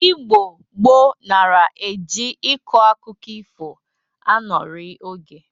Igbo gboo nara e ji ịkọ akụkọ ifo anọrị oge